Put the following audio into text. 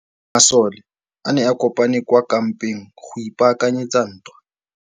Masole a ne a kopane kwa kampeng go ipaakanyetsa ntwa.